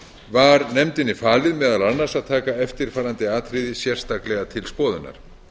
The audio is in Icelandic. var nefndinni falið meðal annars að taka eftirfarandi atriði sérstaklega til skoðunar